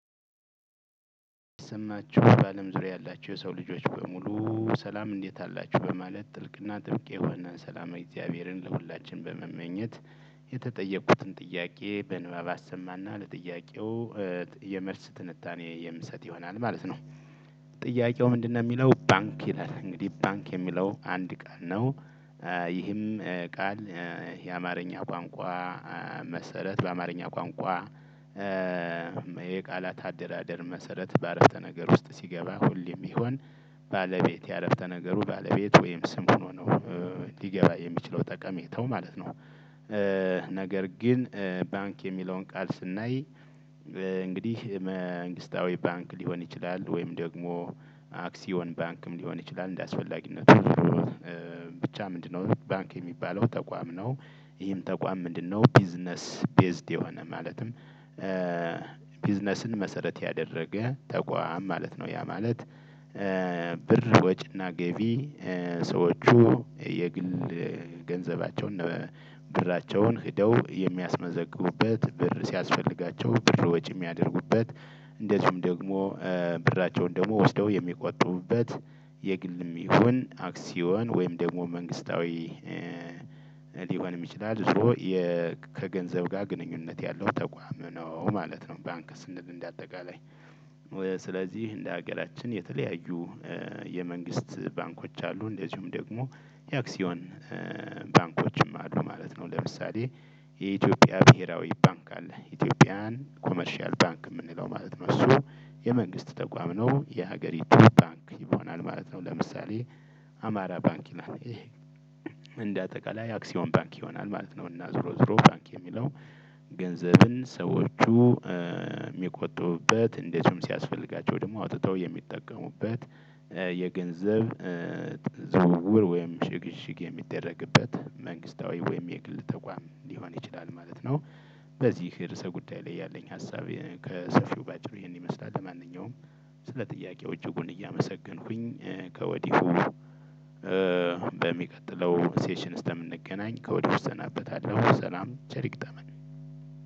ስማችሁ በአለም ዙሪያ ያላችሁ የሰው ልጆች በሙሉ ሰላም እንዴት አላችሁ በማለት ጥልቅና ጥብቅ የሆነን ሰላማዊ እግዚአብሔርን ለሁላችንም በመመኘት። የተጠየቁትን ጥያቄ በንባብ አሰማና ለጥያቄው የመልስ ትንታኔ የምሰጥ ይሆናል ማለት ነው። ጥያቄው ምንድነው የሚለው ባንክ ይላል እንግዲህ ባንክ የሚለው አንድ ቃል ነው። ይህም ቃል የአማርኛ ቋንቋ መሰረት በአማርኛ ቋንቋ። የቃላት አደራደር መሰረት በአረፍተ ነገር ውስጥ ሲገባ ሁሌም ቢሆን። ባለቤት የዐረፍተ ነገሩ ባለቤት ወይም ስም ሆኖ ነው። ሊገባ የሚችለው ጠቀሜታው ማለት ነው። ነገር ግን ባንክ የሚለውን ቃል ስናይ። እንግዲህ መንግስታዊ ባንክ ሊሆን ይችላል ወይም ደግሞ አክሲዮን ባንክም ሊሆን ይችላል እንደአስፈላጊነቱ። ብቻ ምንድነው ባንክ የሚባለው ተቋም ነው። ይሄም ተቋም ምንድነው ቢዝነስ ቤዝድ የሆነ ማለትም? ቢዝነስን መሰረት ያደረገ ተቋም ማለት ነው ያ ማለት። ብር ወጪና ገቢ ሰዎቹ የግል ገንዘባቸውን ብራቸውን ሄደው የሚያስመዘግቡበት ብር ሲያስፈልጋቸው ብር ወጪ የሚያደርጉበት። እንደዚሁም ደግሞ ብራቸውን ደግሞ ወስደው የሚቆጡቡበት የግልም ይሁን አክሲዮን ወይም ደግሞ መንግስታዊ። ሊሆንም ይችላል ዞሮ ከገንዘብ ጋር ግንኙነት ያለው ተቋም ነው ማለት ነው። ባንክ ስንል እንደ አጠቃላይ። ስለዚህ እንደ ሀገራችን የተለያዩ የመንግስት ባንኮች አሉ እንደዚሁም ደግሞ የአክሲዮን ባንኮችም አሉ ማለት ነው። ለምሳሌ የኢትዮጵያ ብሄራዊ ባንክ አለ። ኢትዮጵያን ኮመርሻል ባንክ የምንለው ማለት ነው እሱ የመንግስት ተቋም ነው። የሀገሪቱ ባንክ ይሆናል ማለት ነው። ለምሳሌ አማራ ባንክ ይላል። እንደ አጠቃላይ አክሲዮን ባንክ ይሆናል ማለት ነው። እና ዝሮ ዝሮ ባንክ የሚለው ገንዘብን ሰዎቹ ሚቆጡበት እንደዚሁም ሲያስፈልጋቸው ደግሞ አውጥተው የሚጠቀሙበት የገንዘብ ዝውውር ወይም ሽግሽግ የሚደረግበት መንግስታዊ ወይም የግል ተቋም ሊሆን ይችላል ማለት ነው። በዚህ ርዕሰ ጉዳይ ያለኝ ሀሳብ እሄነው ከሰፊው በአጭሩ ይህን ይመስላል። ለማነኛውም ስለ ጥያቄዎቹ ሁሉ እያመሰገንኩኝ ከወዲሁ በሚቀጥለው ሴሽን እስከምንገናኝ ከወዲሁ እሰናበታለሁ። ሰላም ቸር ይግጠመን።